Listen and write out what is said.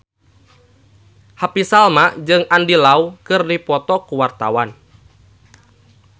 Happy Salma jeung Andy Lau keur dipoto ku wartawan